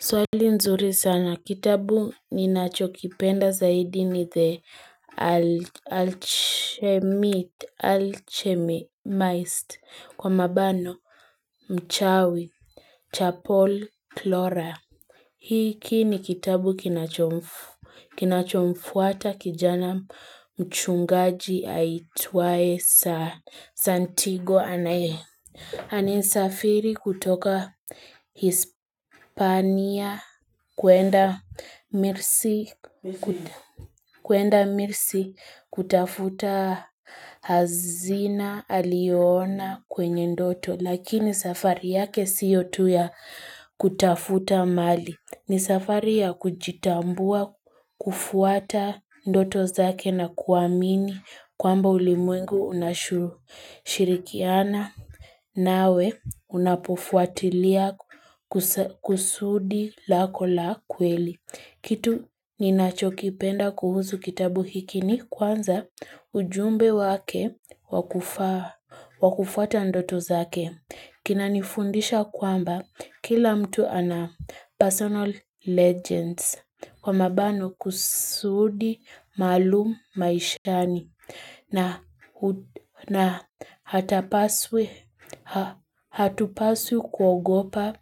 Swali nzuri sana kitabu ninachokipenda zaidi ni the alchemist kwa mabano mchawi cha paul clora hiki ni kitabu kinachomfuata kijana mchungaji aitwaye santigo anaye anayesafiri kutoka hispania kwenda kwenda mirsi kutafuta hazina alio ona kwenye ndoto lakini safari yake siyo tu ya kutafuta mali ni safari ya kujitambua, kufuata ndoto zake na kuamini kwamba ulimwengu unashirikiana nawe unapofuatilia kusudi lako la kweli. Kitu ninachokipenda kuhusu kitabu hiki ni kwanza ujumbe wake wakufuata ndoto zake. Kinanifundisha kwamba kila mtu ana personal legends kwa mabano kusudi maalum maishani na hatupaswi kuogopa